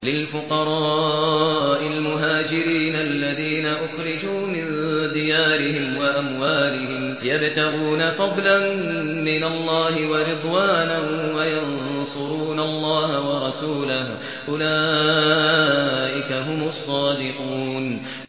لِلْفُقَرَاءِ الْمُهَاجِرِينَ الَّذِينَ أُخْرِجُوا مِن دِيَارِهِمْ وَأَمْوَالِهِمْ يَبْتَغُونَ فَضْلًا مِّنَ اللَّهِ وَرِضْوَانًا وَيَنصُرُونَ اللَّهَ وَرَسُولَهُ ۚ أُولَٰئِكَ هُمُ الصَّادِقُونَ